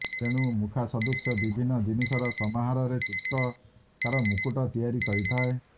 ତେଣୁ ମୁଖାସଦୃଶ୍ୟ ବିଭିନ୍ନ ଜିନିଷର ସମାହାରରେ ଚିତ୍ରକାର ମୁକୁଟ ତିଆରି କରିଥାଏ